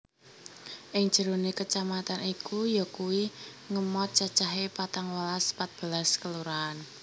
Ing jerone kecamatan iku yakuwi ngemhot cacahe patangwelas patbelas Kelurahan